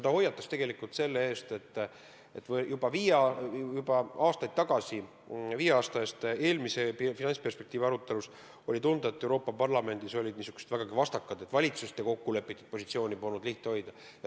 Ta hoiatas tegelikult selle eest, et juba aastaid tagasi, viie aasta eest, eelmise finantsperspektiivi arutelul oli tunda, et Euroopa Parlamendis olid vägagi vastakad seisukohad ja valitsuste kokkulepitud positsiooni polnud lihtne hoida.